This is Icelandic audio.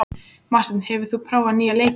Marteinn, hefur þú prófað nýja leikinn?